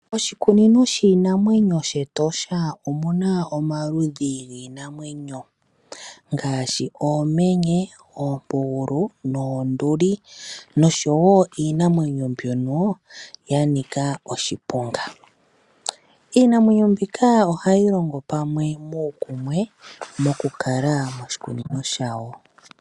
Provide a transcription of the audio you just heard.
Oshikunino shiinamwenyo shEtosha omuna omaludhi giinammwenyo ngaashi oomenye, oompugulu, oonduli noshowo iinamwenyo ndyono yanika oashiponga. Iinamwenyo mbika ohayi longo pamwe nuukumwe moku kala moshikunino shayo.